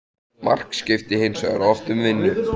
Mark skipti hins vegar oft um vinnu.